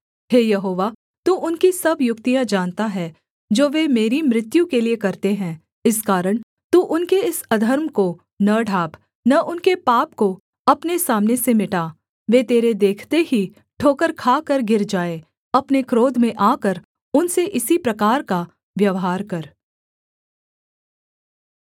हे यहोवा तू उनकी सब युक्तियाँ जानता है जो वे मेरी मृत्यु के लिये करते हैं इस कारण तू उनके इस अधर्म को न ढाँप न उनके पाप को अपने सामने से मिटा वे तेरे देखते ही ठोकर खाकर गिर जाएँ अपने क्रोध में आकर उनसे इसी प्रकार का व्यवहार कर